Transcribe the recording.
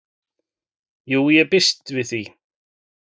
"""Jú, ég býst við því"""